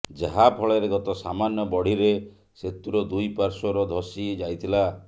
ଯାହାଫଳରେ ଗତ ସାମାନ୍ୟ ବଢ଼ିରେ ସେତୁର ଦୁଇ ପାଶ୍ୱର୍ ଧସି ଯାଇଥିଲା